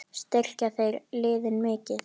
Styrkja þeir liðin mikið?